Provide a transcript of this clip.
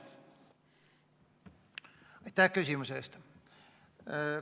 Aitäh küsimuse eest!